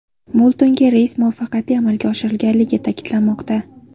Mo‘ltonga reys muvaffaqiyatli amalga oshirilganligi ta’kidlanmoqda.